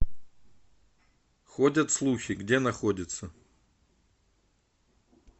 ходят слухи где находится